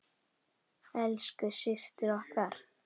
Elsku systir okkar.